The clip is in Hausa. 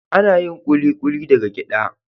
Ana yin Kulikuli daga gyada.